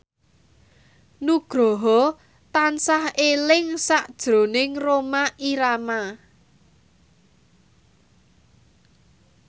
Nugroho tansah eling sakjroning Rhoma Irama